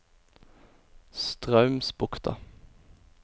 Straumsbukta